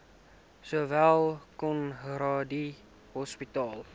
sowel conradie hospitaal